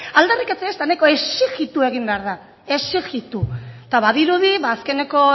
aldarrikatzea ez da nahikoa exijitu egin behar da exijitu eta badirudi ba azkeneko